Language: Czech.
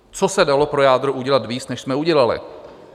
Co se dalo pro jádro udělat víc, než jsme udělali?